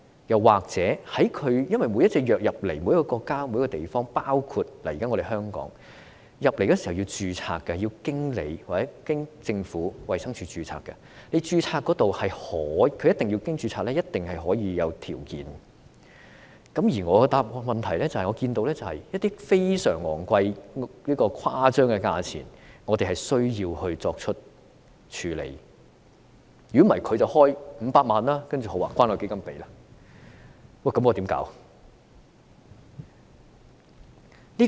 又或者，每一種藥物進口每個國家或地區時必定須要註冊；既然必須經過衞生署註冊，便可在註冊時施加條件；而我的問題是：一些非常昂貴、達到誇張程度的價錢，我們需要處理，否則藥廠便會開價500萬元，然後由關愛基金支付，那麼我們怎麼辦？